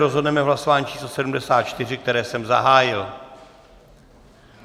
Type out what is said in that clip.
Rozhodneme v hlasování číslo 74, které jsem zahájil.